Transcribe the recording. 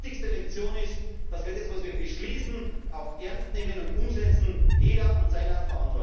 Bürger. Das heißt, die wichtigste Lektion ist, dass wir Beschlüsse auch ernst nehmen und umsetzen, jeder in